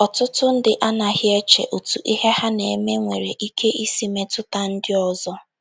Ọtụtụ ndị anaghị eche otú ihe ha na - eme nwere ike isi metụta ndị ọzọ.